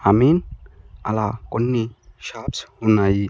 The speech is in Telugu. అమీన్ అలా కొన్ని షాప్స్ ఉన్నాయి.